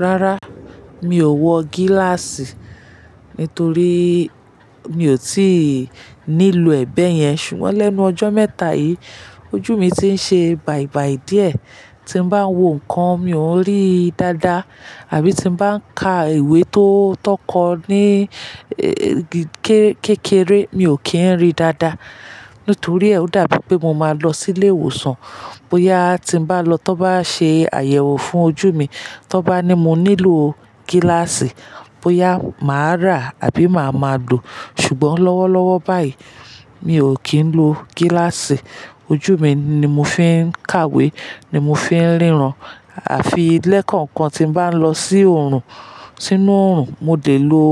Rárá, mi ò wọ gíláàsì nítorí mi ò tí ì nílò ẹ̀ beyẹn. Ṣùgbọ́n lẹ́nu ọjọ́ mẹ́ta yìí, ojú mi ti ń ṣe bàìbàì díẹ̀. Tí n bá ń wo nǹkan, mi ò n ri dáadáa àbí tí mo bá ń ka ìwé tó kọ ní kékeré, mi ò kí ń rí dáadáa. Nítorí ẹ̀ o dàbí pé mo máa lọ sílé ìwòsàn. Bóyá tí n bá lọ, to bá ṣe àyẹ̀wò fún ojú mi, to bá ní mo nílò gíláàsì, bóyá màá rà àbí màá máa lo Ṣùgbọ́n lọ́wọ́lọ́wọ́ báyìí, mi ò kí ń lo gíláàsì. Ojú mi ni mo fi ń kàwé, ni mo fi ń ríran. A fi le ekankan tí n bá ń lọ si orun sínú oòrùn, mo de lo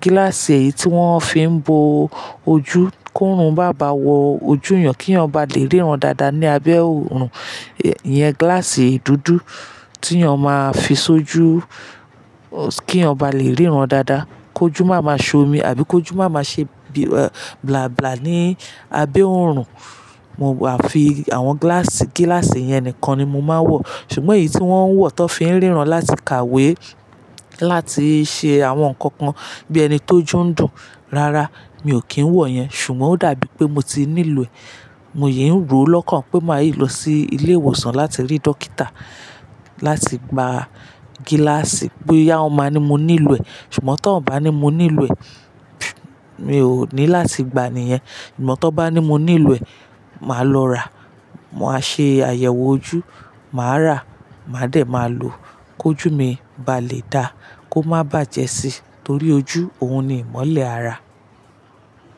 gíláàsì eyìí tí wọ́n fi ń bo ojú kó rùn maa bá wọ ojú èyàn kí èyàn bá lè ríran dáadáa ní abẹ́ oòrùn. Iyẹn gíláàsì dúdú tí ènìyàn máa ń fi ṣojú kí ènìyàn bá lè ríran dáadáa, kó jù máa máa ṣomi àbí kó jù máa máa ṣe bila bla bla ní abẹ́ oòrùn. Mo máa afi àwọn gíláàsì yẹn nìkan ni mo máa ń wọ. Ṣùgbọ́n èyí tí wọ́n ń wọ̀ tó fi ń ríran láti kàwé, láti ṣe àwọn nǹkan kan bí ẹni ti ojú ń dùn, rárá, mi ò kí ń wọ̀ yẹn. Ṣùgbọ́n ó dàbí pé mo ti nílò ẹ̀. Mòye ń rò ó lọ́kàn pé màá yí lọ sí ilé ìwòsàn láti rí dókítà láti gba gíláàsì. Bóyá ó máa ní mo nílò ẹ̀. Ṣùgbọ́n tó bá ní mo nílò ẹ̀, mi ò ní láti gba niyen Ṣùgbọ́n tó bá ní mo nílò ẹ̀, màá lọ rà. Mo máa ṣe àyẹ̀wò ojú, màá rà, màá dẹ̀ máa lò ki ojù mi bá lè dáa, kó má bàjẹ́ síi. Torí ojú òun ni ìmọ́lẹ̀ ara.